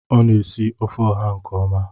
Ọ na-esi ofe oha nke ọma.